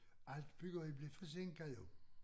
Alt byggeri blev forsinket jo